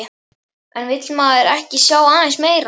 En vill maður ekki sjá aðeins meira?